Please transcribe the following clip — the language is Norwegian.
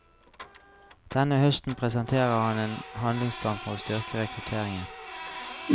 Denne høsten presenterer han en handlingsplan for å styrke rekrutteringen.